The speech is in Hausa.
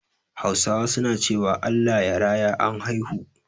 Hausawa su na cewa "Allah ya raya " an haihu